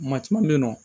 Maa caman bɛ yen nɔ